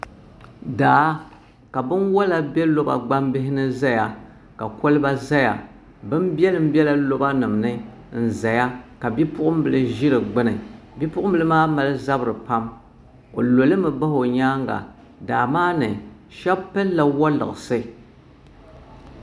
Daa ka bini wola bɛ lɔba gbaŋ bihi ni zaya ka koliba zaya bini bɛlim bɛla lɔba niŋmi n zaya ka bipuɣin bila zi di gbuni nipuɣin bila maa mali zabiri pam o loli mi bahi o yɛanga daa maa ni shɛba pili la woliɣisi.